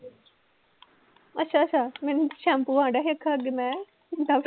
ਅੱਛਾ ਅੱਛਾ ਮੈਨੂੰ ਸੈਂਪੂ ਮੈਂ ਡਵ